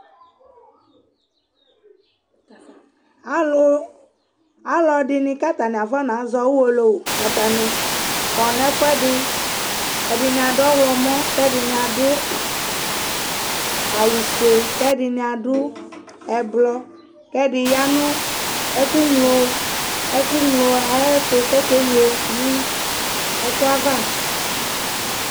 ɑlu ɑlụɛɗiɲ kɑ tɑɲiɑkɑɲɑ zɔũwọlọwω ɑtɑɲi kɔ ɲɛfũɛɗi ɛɗiɲiɑ ɗụọhlọmɔ kɛ kɛɗiɲiɑ wụfuɛ kɛɗiɲiɑɗʊ ɛblọ kɛɗiyɑɲụ ɛkụŋlọ ɛkụŋlọ ɑyɛtu kɔkɛŋlọ ékụɑvɑ